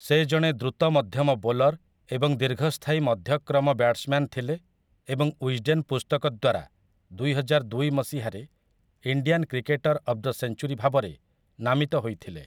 ସେ ଜଣେ ଦ୍ରୁତମଧ୍ୟମ ବୋଲର୍ ଏବଂ ଦୀର୍ଘସ୍ଥାୟୀ ମଧ୍ୟକ୍ରମ ବ୍ୟାଟ୍ସମ‍୍ୟାନ୍ ଥିଲେ ଏବଂ ୱିଜ୍‌ଡେନ୍ ପୁସ୍ତକ ଦ୍ୱାରା ଦୁଇହଜାରଦୁଇ ମସିହାରେ 'Indian cricketer of the century' ଭାବରେ ନାମିତ ହୋଇଥିଲେ ।